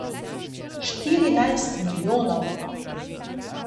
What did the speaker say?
Štirinajst milijonov!